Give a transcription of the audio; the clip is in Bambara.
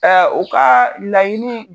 u ka laɲini